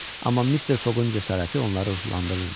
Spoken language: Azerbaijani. Amma Mister Foqun cəsarəti onları ruhlandırırdı.